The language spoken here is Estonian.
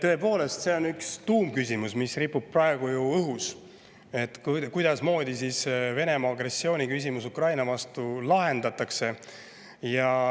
Tõepoolest, see on üks tuumküsimus, mis ripub praegu õhus: kuidasmoodi lahendatakse Venemaa agressiooni küsimus Ukraina vastu?